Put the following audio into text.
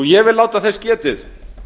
ég vil láta þess getið